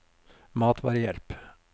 matvarehjelp